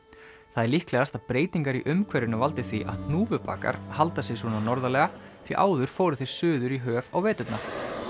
það er líklegast að breytingar í umhverfinu valdi því að hnúfubakar halda sig svona norðarlega því áður fóru þeir suður í höf á veturna